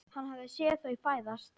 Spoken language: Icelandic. Hann hafði séð þau fæðast.